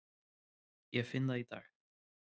Ég finn það í dag.